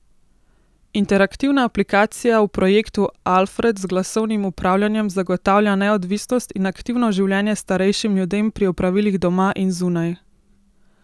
Interaktivna aplikacija v projektu Alfred z glasovnim upravljanjem zagotavlja neodvisnost in aktivno življenje starejšim ljudem pri opravilih doma in zunaj.